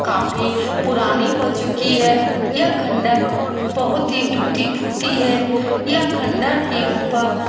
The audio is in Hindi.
काफी पुरानी हो चुकी है यह खँडहर बहुत ही टूटी फूटी है यह खँडहर के ऊपर --